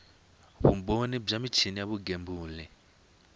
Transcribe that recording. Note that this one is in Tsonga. vumbhoni bya michini ya vugembuli